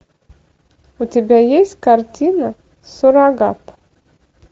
у тебя есть картина суррогат